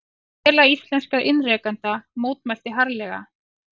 Félag íslenskra iðnrekenda mótmælti harðlega